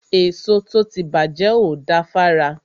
Èso tó ti bàjẹ́ ò da fára.